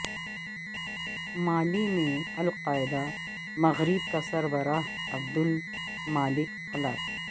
مالی میں al Qaeda Maghreb کا سربراہ عبد المالک ہلاک